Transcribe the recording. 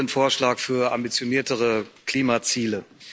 Ich begrüße den Vorschlag für ambitioniertere Klimaziele.